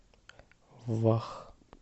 вах